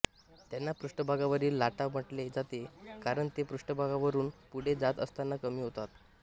त्यांना पृष्ठभागावरील लाटा म्हटले जाते कारण ते पृष्ठभागावरून पुढे जात असताना कमी होतात